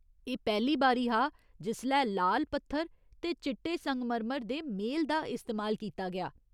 एह् पैह्‌ली बारी हा जिसलै लाल पत्थर ते चिट्टे संगमरमर दे मेल दा इस्तेमाल कीता गेआ।